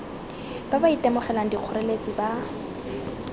ba ba itemogelang dikgoreletsi ba